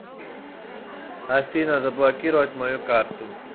афина заблокировать мою карту